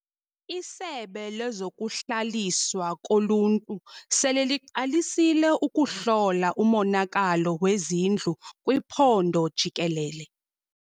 Isebe lezokuHlaliswa koLuntu sele liqalisile ukuhlola umonakalo wezindlu kwiphondo jikelele.